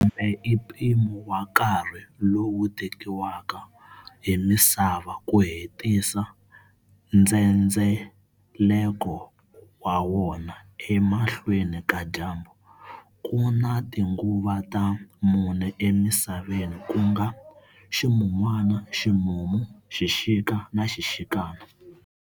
Lembe i mpimo wa nkarhi lowu tekiwaka hi misava ku hetisa ndzhendzeleko wa wona emahlweni ka dyambu. Kuna tinguva ta mune e misaveni kunga-ximun'wana, ximumu, xixikana na xixika.